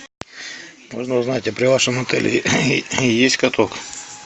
можно узнать а при вашем отеле есть каток